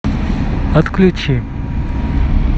отключи